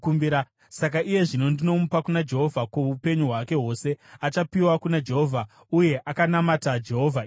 Saka iye zvino ndinomupa kuna Jehovha. Kwoupenyu hwake hwose achapiwa kuna Jehovha.” Uye akanamata Jehovha ipapo.